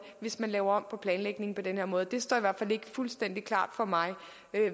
hvis man laver om på planlægningen på den her måde det står i hvert fald ikke fuldstændig klart for mig